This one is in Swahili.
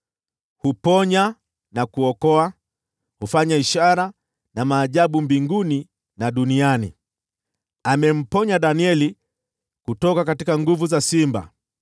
Huponya na kuokoa; hufanya ishara na maajabu mbinguni na duniani. Amemwokoa Danieli kutoka nguvu za simba.”